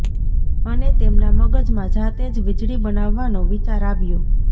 અને તેમના મગજમાં જાતે જ વીજળી બનાવવાનો વિચાર આવ્યો